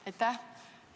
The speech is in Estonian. Aitäh!